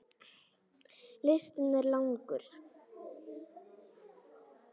Listinn er langur.